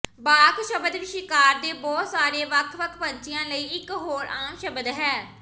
ਬਾਕ ਸ਼ਬਦ ਸ਼ਿਕਾਰ ਦੇ ਬਹੁਤ ਸਾਰੇ ਵੱਖ ਵੱਖ ਪੰਛੀਆਂ ਲਈ ਇਕ ਹੋਰ ਆਮ ਸ਼ਬਦ ਹੈ